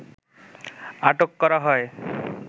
আটক করা হয়